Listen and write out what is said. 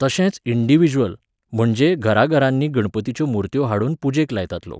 तशेंच इंन्डिविज्वल, म्हणजे घराघरांनी गणपतीच्यो मुर्त्यो हाडून पुजेक लायतात लोक